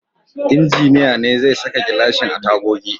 Injiniya ne zai saka gilashin a tagogi.